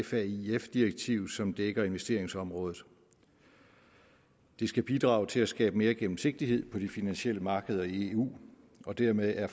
faif direktiv som dækker investeringsområdet det skal bidrage til at skabe mere gennemsigtighed på de finansielle markeder i eu og dermed er